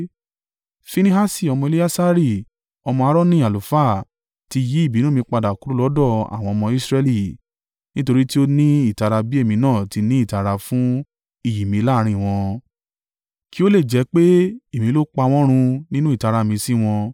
“Finehasi ọmọ Eleasari ọmọ Aaroni, àlùfáà, ti yí ìbínú mi padà kúrò lọ́dọ̀ àwọn ọmọ Israẹli, nítorí tí ó ní ìtara bí èmi náà ti ní ìtara fún iyì mi láàrín wọn, kí ó lè jẹ́ pé èmi ló pa wọ́n run nínú ìtara mi sí wọn.